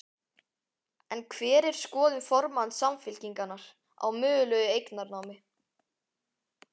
En hver er skoðun formanns Samfylkingar á mögulegu eignarnámi?